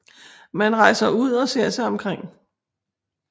Man rejser ud og ser sig omkring